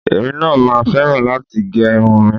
Èmi náà máa fẹ́ràn láti gẹ irun mi